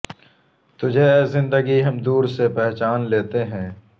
تجھے اے زندگی ہم دور سے پہچان لیتے ہیں